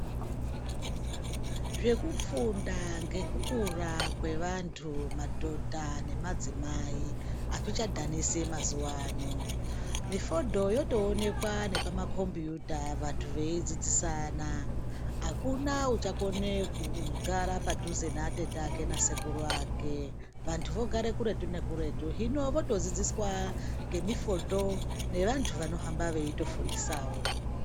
Zvekufunda ngekukura kwevantu madhodha nemadzimai azvichadhanisi mazuva ano, mifundo yotoonekwa nepamakombuyuta vantu veidzidzisana akuna uchakone kugara padhuze neatete ake nasekuru ake, vantu vogare kuretu nekuretu hino votodzidziswa nemifoto nevantu vanohamba veitofundisawo.